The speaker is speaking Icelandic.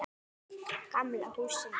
Gamla húsinu.